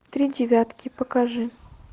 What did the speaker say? три девятки покажи